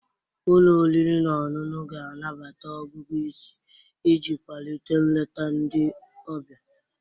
Ụlọ oriri na ọṅụṅụ ga-anabata ọgụgụ isi iji kwalite nleta ndị ọbịa.